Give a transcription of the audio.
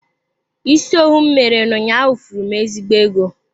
Isi owu m mere ụnyaahụ furu m ezigbo ego.